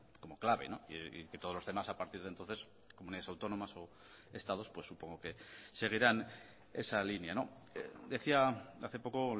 como clave y que todos los demás a partir de entonces comunidades autónomas o estados pues supongo que seguirán esa línea decía hace poco o